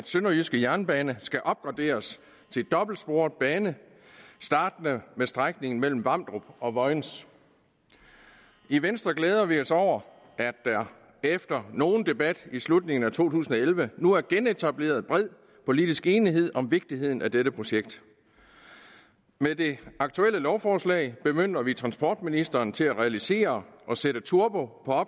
sønderjyske jernbane skal opgraderes til dobbeltsporet bane startende med strækningen mellem vamdrup og vojens i venstre glæder vi os over at der efter nogen debat i slutningen af to tusind og elleve nu er genetableret bred politisk enighed om vigtigheden af dette projekt med det aktuelle lovforslag bemyndiger vi transportministeren til at realisere og sætte turbo på